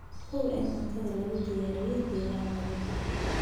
Hubi in cuntada lagu diyaariyay deegaan nadiif ah.